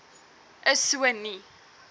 is so nie